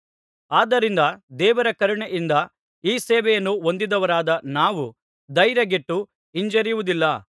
ಆದ್ದರಿಂದ ದೇವರ ಕರುಣೆಯಿಂದ ಈ ಸೇವೆಯನ್ನು ಹೊಂದಿದವರಾದ ನಾವು ಧೈರ್ಯಗೆಟ್ಟು ಹಿಂಜರಿಯುವುದಿಲ್ಲ